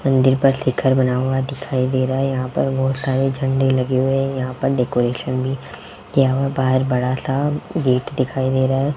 मंदिर पर शिखर बना हुआ दिखाई दे रहा है यहां पर बहुत सारे झंडे लगे हुए हैं यहां पर डेकोरेशन भी किया हुआ बाहर बड़ा सा गेट दिखाई दे रहा है।